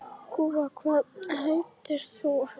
Gúa, hvað heitir þú fullu nafni?